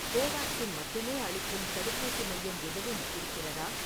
கோவேக்சின் மட்டுமே அளிக்கும் தடுப்பூசி மையம் எதுவும் இருக்கிறதா?